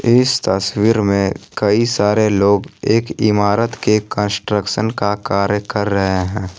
इस तस्वीर में कई सारे लोग एक इमारत के कंस्ट्रक्शन का कार्य कर रहे हैं।